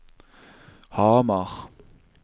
Hamar